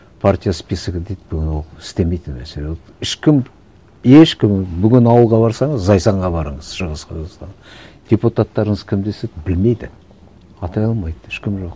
партия списогы дейді бүгін ол істемейтін мәселе ол ешкім ешкім бүгін ауылға барсаңыз зайсанға барыңыз шығыс қазақстан депутаттарыңыз кім десе білмейді атай алмайды ешкім жоқ